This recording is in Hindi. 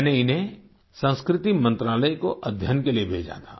मैंने इन्हें संस्कृति मंत्रालय को अध्ययन के लिए भेजा था